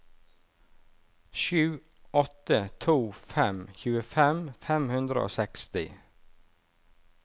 sju åtte to fem tjuefem fem hundre og seksti